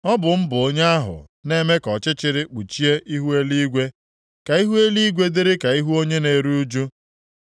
Ọ bụ mụ bụ onye ahụ na-eme ka ọchịchịrị kpuchie ihu eluigwe, ka ihu eluigwe dịrị ka ihu onye na-eru ụjụ.”